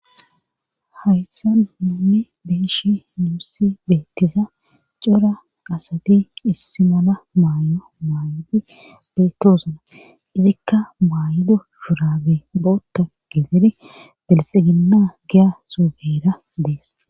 Hayssa nunne beeshi nuussi beettiza cora qasati issi mala maay7o maayodi beettosuna izikka maaydo shurabe bootta getedi belxiginna giya suufeera dees